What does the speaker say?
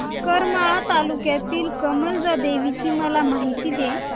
करमाळा तालुक्यातील कमलजा देवीची मला माहिती दे